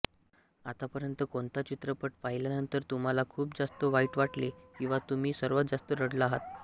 आतापर्यंत कोणता चित्रपट पाहिल्यानंतर तुम्हाला खूप जास्त वाईट वाटले किंवा तुम्ही सर्वात जास्त रडला आहात